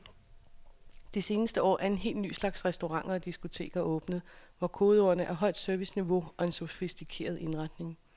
Det seneste år er en helt ny slags restauranter og diskoteker åbnet, hvor kodeordene er højt serviceniveau og en sofistikeret indretning.